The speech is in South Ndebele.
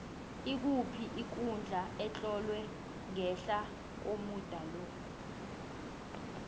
ikuphi ikundla etlolwe ngehla komuda lo